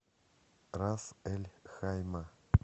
рас эль хайма